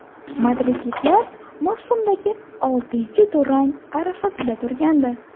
Madridliklar mavsumdagi oltinchi durang arafasida turgandi.